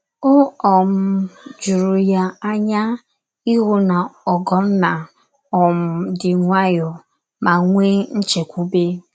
O um juru ya anya ịhụ na Ogonna um dị nwayọọ ma nwee nchekwube.